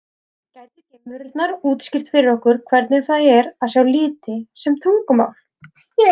Gætu geimverurnar útskýrt fyrir okkur hvernig það er að sjá liti sem tungumál?